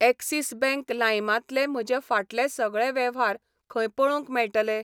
Axis bank लाइमां तले म्हजे फाटले सगळे वेव्हार खंय पळोवंक मेळटले?